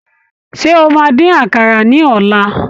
Ṣé o máa dín àkàrà ní ọ̀la?